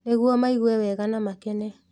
Nĩguo meigue wega na makene